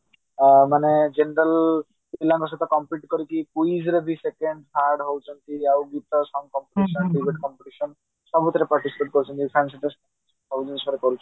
ଆଁ ମାନେ ଜିନ୍ଦଲ ପିଲାଙ୍କ ସହ compete କରିକି quiz ରେ ବି second third ହଉଛନ୍ତି ଆଉ ଗୀତ song competition debate competition ସବୁଥିରେ participate କରୁଛନ୍ତି ଆଉ science ସବୁ ଜିନିଷରେ କରୁଛନ୍ତି